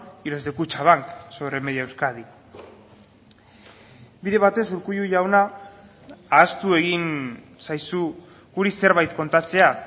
y los de kutxabank sobre media euskadi bide batez urkullu jauna ahaztu egin zaizu guri zerbait kontatzea